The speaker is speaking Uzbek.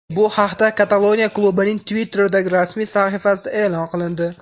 Bu haqda Kataloniya klubining Twitter’dagi rasmiy sahifasida e’lon qilindi .